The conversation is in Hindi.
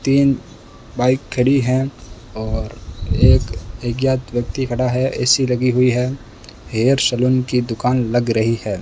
तीन बाइक खड़ी है और एक अज्ञात व्यक्ति खड़ा है ए_सी लगी हुई है हेयर सैलून की दुकान लग रही है।